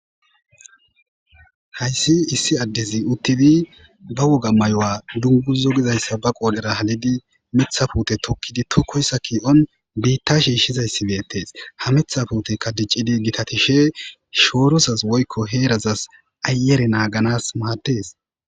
hayssi issi addezi uttidi ba woga mayuwa dunguzo gizayssa ba qoodhera halidi mitha pute tokkidi tokoyssa kii7on biitta shiishshizayssi beettes ha mitha puute tikkidi tokkoyssa ki7on biitta shiishizayssi beettees. Ha mitha puuteykka diccidi gitatishe shoorosas woykko heerazas ayere naaganas maaddes.